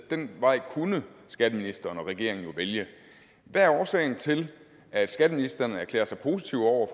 den vej kunne skatteministeren og regeringen jo vælge hvad er årsagen til at skatteministeren erklærer sig positiv over